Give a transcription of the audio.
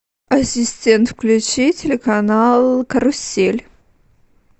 ассистент включи телеканал карусель